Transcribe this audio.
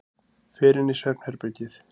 Fer inn í svefnherbergið.